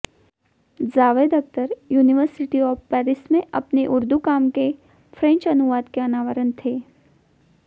Javed Akhtar university of Paris में अपने ऊर्दू काम के फ्रेंच अनुवाद के अनावरण के